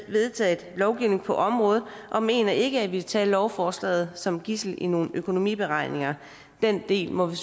vedtaget lovgivning på området og mener ikke at vi skal tage lovforslaget som et gidsel i nogen økonomiberegninger den del må vi